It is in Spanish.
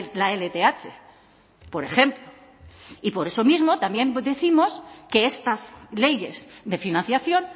la lth por ejemplo y por eso mismo también décimos que estas leyes de financiación